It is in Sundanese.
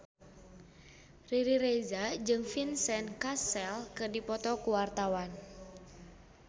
Riri Reza jeung Vincent Cassel keur dipoto ku wartawan